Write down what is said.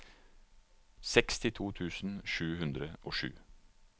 sekstito tusen sju hundre og sju